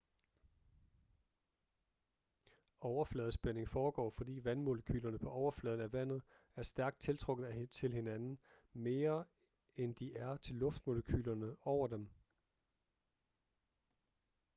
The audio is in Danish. overfladespænding foregår fordi vandmolekylerne på overfladen af vandet er stærkt tiltrukket til hinanden mere end de er til luftmolekylerne over dem